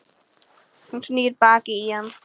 Hún snýr baki í hann.